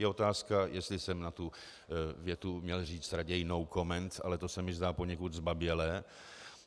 Je otázka, jestli jsem na tu větu měl říct raději no comment, ale to se mi zdá poněkud zbabělé.